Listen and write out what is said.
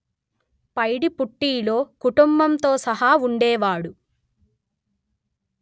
పైడిపుట్టిలో కుటుంబంతో సహా ఉండేవాడు